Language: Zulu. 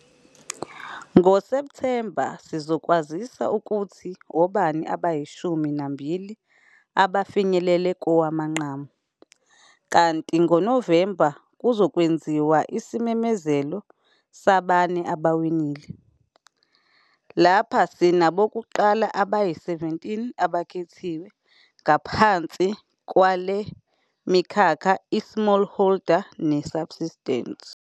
NgoSepthemba sizokwazisa ukuthi obani abayishumi nambili abafinyelele kowamaqamu, kanti ngoNovemba kuzokwenziwa isimemezelo sabane abawinile. Lapha sinabokuqala abayi-17 abakhethiwe ngaphansi kwale mikhakha i-Smallholder ne-Subsistence.